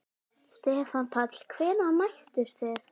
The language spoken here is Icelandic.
Stefán Páll: Hvenær mættuð þið?